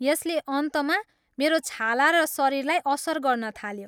यसले अन्तमा मेरो छाला र शरीरलाई असर गर्न थाल्यो।